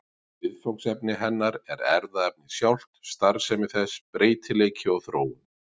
Viðfangsefni hennar er erfðaefnið sjálft, starfsemi þess, breytileiki og þróun.